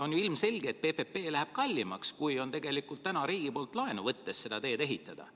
On ju ilmselge, et PPP läheb kallimaks kui tegelikult täna riigi poolt laenu võttes selle tee ehitamine.